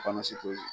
Kɔnɔsi t'o ye